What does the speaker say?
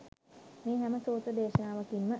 මේ හැම සූත්‍ර දේශනාවකින් ම